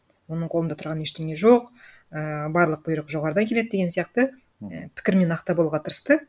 оның қолында тұрған ештеңе жоқ ііі барлық бұйрық жоғарыдан келеді деген сияқты і пікірмен ақтап алуға тырысты